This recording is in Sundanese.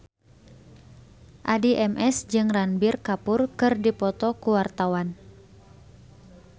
Addie MS jeung Ranbir Kapoor keur dipoto ku wartawan